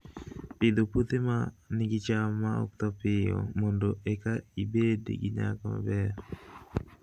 Pidho puothe ma nigi cham ma ok tho piyo mondo eka ibed gi nyak maber